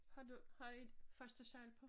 Har du har i første sal på?